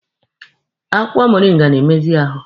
Akwụkwọ moringa na-emezi ahụ